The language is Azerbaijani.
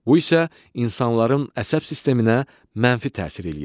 Bu isə insanların əsəb sisteminə mənfi təsir eləyir.